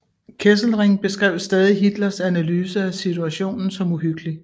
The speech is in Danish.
Kesselring beskrev stadig Hitlers analyse af situationen som uhyggelig